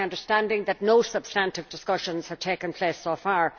It is my understanding that no substantive discussions have taken place so far.